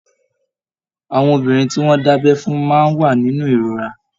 Àwọn obìnrin tí wọn da'bẹ fún máa n wà nínú ìrora.